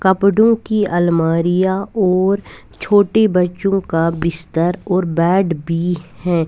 कपड़ों कि अलमारियां और छोटे बच्चों का बिस्तर और बॅट भी है।